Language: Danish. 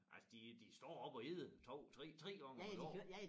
Altså de de står op og æder 2 3 3 gange om æ dag